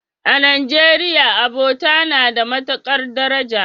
A Najeriya, abota na da matukar daraja.